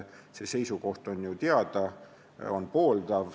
See seisukoht on ju teada, see on pooldav.